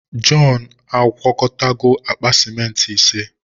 Jọn agwakọtago akpa simenti ise.